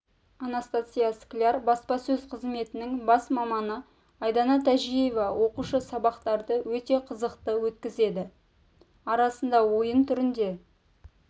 анастасия скляр баспасөз қызметінің бас маманы айдана тәжиева оқушы сабақтарды өте қызықты өткізеді арасында ойын түрінде